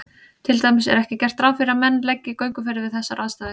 Til dæmis er ekki gert ráð fyrir að menn leggi í gönguferðir við þessar aðstæður.